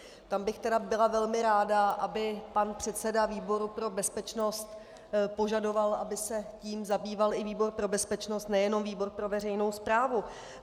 Tam bych tedy byla velmi ráda, aby pan předseda výboru pro bezpečnost požadoval, aby se tím zabýval i výbor pro bezpečnost, nejenom výbor pro veřejnou správu.